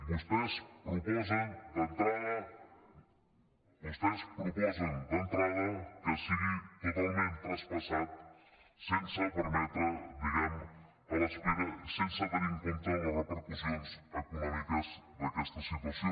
vostès proposen d’entrada vostès proposen d’entrada que sigui totalment traspassat sense permetre diguem ne a l’espera i sense tenir en compte les repercussions econòmiques d’aquesta situació